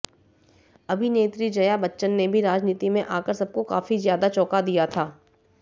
अभिनेत्री जया बच्चन ने भी राजनीति में आकर सबको काफी ज्यादा चौंका दिया था